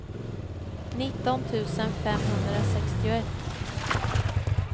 nitton tusen femhundrasextioett